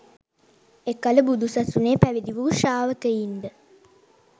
එකල බුදු සසුනේ පැවිදි වූ ශ්‍රාවකයින්ද